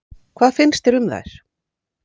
Hvað finnst þér um þær?